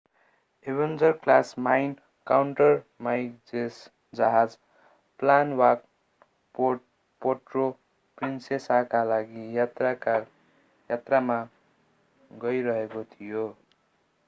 Avenger class mine countermeasures जहाज Palawan Puerto प्रिन्सेसाका लागि यात्रामा गइरहेको थियो